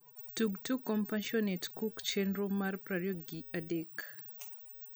tug tuk compassionate cook chenro mar prario gi adek